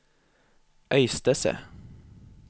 Øystese